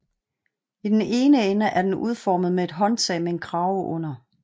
I den ene ende er den udformet med et håndtag med en krave under